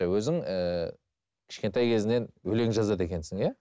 өзің ііі кішкентай кезіңнен өлең жазады екенсің иә